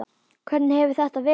Hvernig hefur þetta verið?